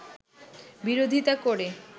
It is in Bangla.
বিরোধীতা করে